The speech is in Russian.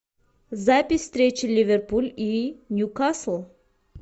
запись встречи ливерпуль и ньюкасл